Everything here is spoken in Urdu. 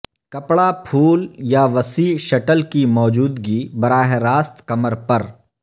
کپڑا پھول یا وسیع شٹل کی موجودگی براہ راست کمر پر